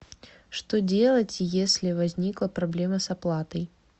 что делать если возникла проблема с оплатой